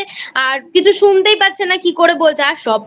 আর কিছু শুনতেই পাচ্ছে না কীকরে বোঝায় সব তো